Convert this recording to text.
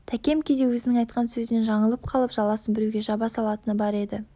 тәкем кейде өзінің айтқан сөзінен жаңылып қалып жаласын біреуге жаба салатыны бар еді